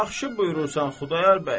Yaxşı buyurursan Xudayar bəy.